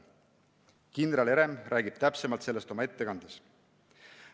Kindral Herem räägib täpsemalt sellest oma ettekandes.